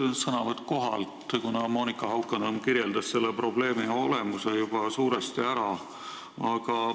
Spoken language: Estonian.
Mul on sõnavõtt kohalt, kuna Monika Haukanõmm kirjeldas probleemi olemuse juba suuresti ära.